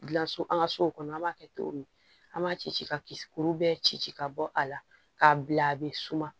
Gilanso an ka sow kɔnɔ an b'a kɛ cogo min an b'a ci ci ka kuru bɛɛ ci ci ka bɔ a la k'a bila a bɛ suma